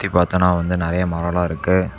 இத பாத்தோம்னா வந்து நறைய மரல்லாம் இருக்கு.